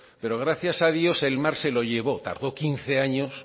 pero gracias a dios el mar se lo llevó tardó quince años